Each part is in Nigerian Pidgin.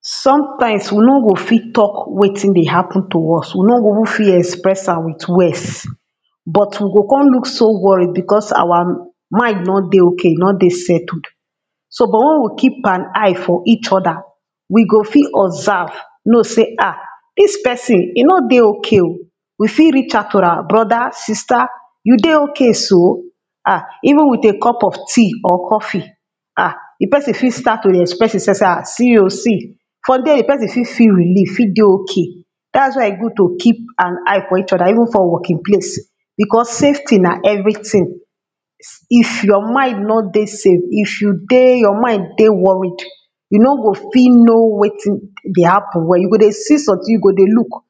Sometimes we nor go fit talk wetin dey happen to us, we nor go fit even fit express am with words, but we go come look so worried because our mind nor dey okay e nor dey settled. so but wen we keep an eye for each other, we go fit observe, know sey ah! dis person e nor dey okay o. we fit reach out to am brother, sister, you dey okay so, ah! even with a cup of tea or coffee, ah! di person fit start to dey express himself sey ah! see o see from there di person fit dey relief, fit dey okay. dats why its good to keep an eye for each other, even for working place, because safety na every tin. if your mind no dey safe if you dey your mind dey worried, you nor go fit know wetin dey happen well you go dey see something you go dey look,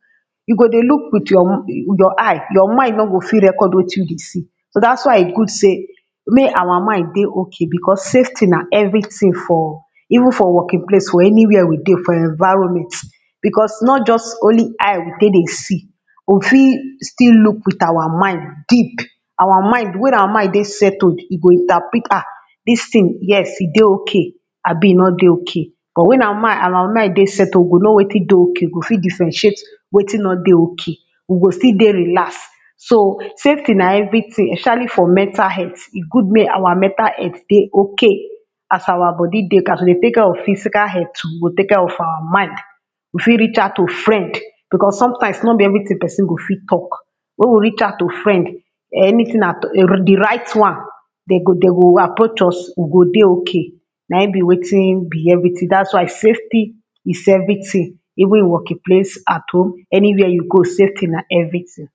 you go dey look your with your eye your mind nor go fit record wetin you dey see, so dats why e good sey mae our mind dey okay because safety na everything for even for working place for any where we dey for environment because nor just only eye we take dey see, we fit still look with our mind deep, our mind wen our mind dey settled e go interprete ah! dis thing yes e dey okay abi e nor dey okay but wen our mind our mind dey settled we go know wetin dey okay, we go fit differentiate wetin nor dey okay. we go still dey relax. so safety na everything especially for mental health e good make our mental health dey okay, as our body dey okay as we dey take care of our physical health we go take care of our mind. we fit reach out to friend, because some times nor be everything person go fit talk wen we reach out to friend um anything at all di right one, dem go dem go approach us we go dey okay, na im be weitn be everything, dats why safety is everything even in working place, at home, any where you go safety na everything.